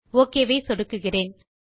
okay ஐ சொடுக்குகிறேன்